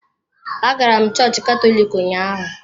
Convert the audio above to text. Agara m chọọchị Katọlik ụnyaahụ.